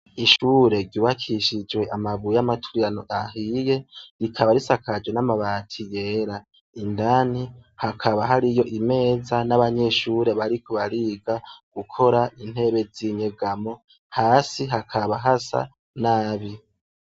Ishure ryubakishijwe amabuye y'amaturirano ahiye rikaba risakajwe n'amabati yera ,indani hakaba hariyo imeza n'abanyeshure bariko bariga gukora intebe z'inyegamo hasi hakaba hasa nabi.